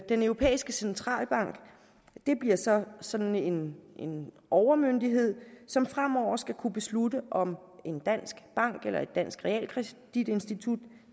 den europæiske centralbank bliver så sådan en en overmyndighed som fremover skal kunne beslutte om en dansk bank eller et dansk realkreditinstitut